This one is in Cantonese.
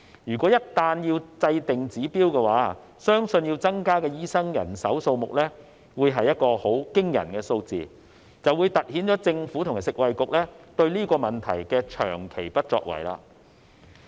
如果一旦制訂指標，相信要增加的醫生人手數目會是個很驚人的數字，就會凸顯了政府和食衞局對這個問題的長期不作為。